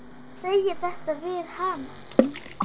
Að segja þetta við hana.